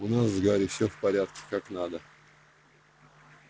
у нас с гарри все в порядке как надо